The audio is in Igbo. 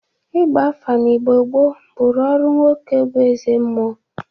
Igba afa n'Igbo gboo bụrụ ọrụ nwoke bụ ezemụọ.